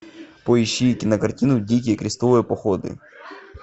поищи кинокартину дикие крестовые походы